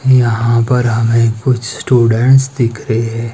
यहां पर हमें कुछ स्टूडेंट्स दिख रहें--